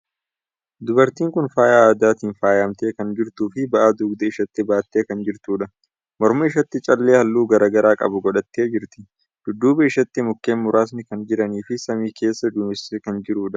Dubartiin kuni faaya aadatiin faayamtee kan jirtuu fi ba'aa dugda isheetti baattee kan jirtuudha. Morma isheetti callee haalluu garagaraa qabu godhattee jirti. Dudduuba isheetti mukkeen nuraasni kan jiranii fi samii keessa duumessi kan jiruudha.